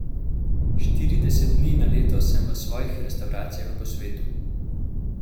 Štirideset dni na leto sem v svojih restavracijah po svetu.